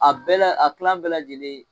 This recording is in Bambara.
A bɛɛ la a kilan bɛɛ lajɛlen.